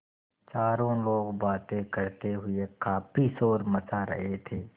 चारों लोग बातें करते हुए काफ़ी शोर मचा रहे थे